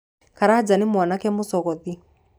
Karanja nĩ mwanake mũcogothi.